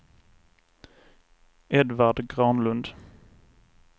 Edvard Granlund